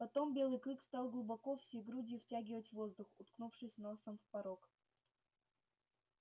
потом белый клык стал глубоко всей грудью втягивать воздух уткнувшись носом в порог